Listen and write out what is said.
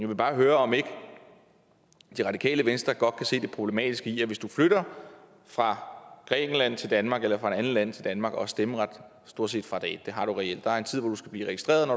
vil bare høre om ikke det radikale venstre godt kan se det problematiske i at hvis man flytter fra grækenland til danmark eller fra et andet land til danmark og har stemmeret stort set fra dag et det har man reelt der er en tid hvor man skal blive registreret og